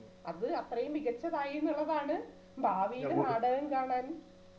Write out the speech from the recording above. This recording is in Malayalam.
അത് അത്രേം മികച്ചതായിന്നുള്ളതാണ് ഭാവിയിൽ നാടകം കാണാൻ